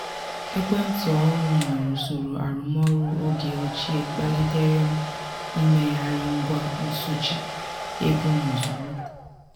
ekwentị ọhụrụ nwere usoro arụmọrụ oge ochie kpalitere m imegharị ngwa nsochi ego m ozugbo.